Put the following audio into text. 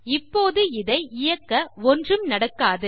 இப்போது இதை இயக்க ஒன்றும் நடக்காது